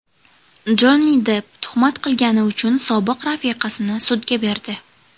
Jonni Depp tuhmat qilgani uchun sobiq rafiqasini sudga berdi.